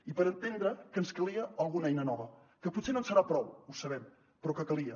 i per entendre que ens calia alguna eina nova que potser no ens serà prou ho sabem però que calia